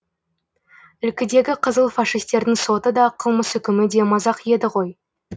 ілкідегі қызыл фашистердің соты да қылмыс үкімі де мазақ еді ғой